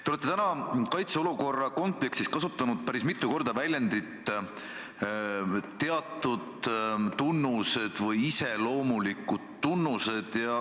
Te olete täna kaitseolukorra kontekstis kasutanud päris mitu korda väljendit "teatud tunnused" või "iseloomulikud tunnused".